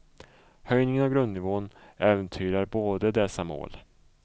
Höjningen av grundnivån äventyrar både dessa mål.